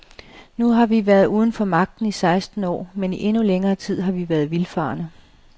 Nu har vi været uden for magten i seksten år, men i endnu længere tid har vi været vildfarne.